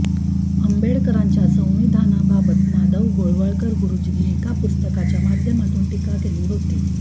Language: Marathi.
आंबेडकरांच्या संविधानाबाबत माधव गोळवळकर गुरुजींनी एका पुस्तकाच्या माध्यमातून टीका केली होती